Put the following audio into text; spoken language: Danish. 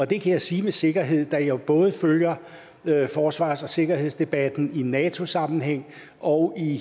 det kan jeg sige med sikkerhed da jeg jo både følger forsvars og sikkerhedsdebatten i nato sammenhæng og i